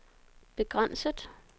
begrænset